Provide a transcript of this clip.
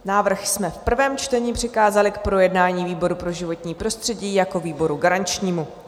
Návrh jsme v prvém čtení přikázali k projednání výboru pro životní prostředí jako výboru garančnímu.